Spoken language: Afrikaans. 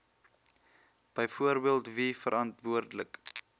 byvoorbeeld wie verantwoordelik